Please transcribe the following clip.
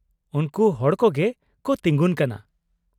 -ᱩᱱᱠᱩ ᱦᱚᱲ ᱠᱚᱜᱮ ᱠᱚ ᱛᱤᱸᱜᱩᱱ ᱠᱟᱱᱟ ᱾